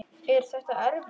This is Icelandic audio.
Er þetta erfitt?